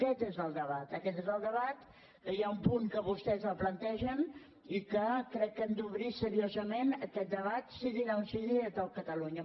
aquest és el debat aquest és el debat que hi ha un punt en què vostès el plantegen i que crec que hem d’obrir seriosament aquest debat sigui allà on sigui de tot catalunya